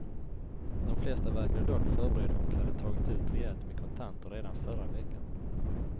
De flesta verkade dock förberedda och hade tagit ut rejält med kontanter redan förra veckan.